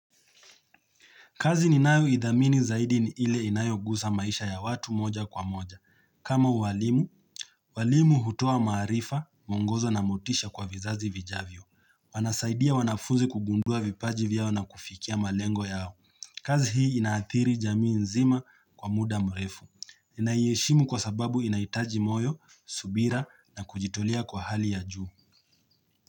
Kazi ni nayo idhamini zaidi ni ile inayogusa maisha ya watu moja kwa moja. Kama uwalimu, walimu hutoa maarifa, mungozo na motisha kwa vizazi vijavyo. Wanasaidia wanafuzi kugundua vipaji vyao na kufikia malengo yao. Kazi hii inaathiri jamii nzima kwa muda mrefu. Naiheshimu kwa sababu inaitaji moyo, subira na kujitolia kwa hali ya juu.